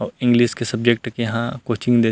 अऊ इंग्लिश के सब्जेक्ट के यहां कोचिंग देत--